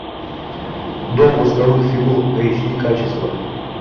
дом восковых фигур эйч ди качество